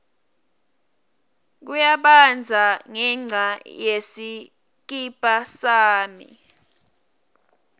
kuyabandza ngenca yesikibha sani